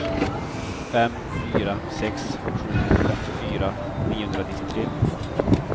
fem fyra sex sju femtiofyra niohundranittiotre